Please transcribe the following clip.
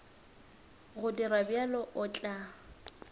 go dira bjalo o tla